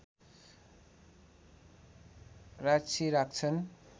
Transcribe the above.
राक्षी राख्छन्